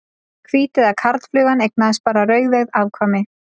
Hvíteygða karlflugan eignaðist bara rauðeygð afkvæmi.